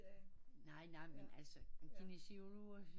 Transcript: Nej nej men altså kinesiologerne